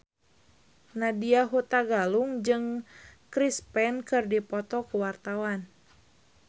Nadya Hutagalung jeung Chris Pane keur dipoto ku wartawan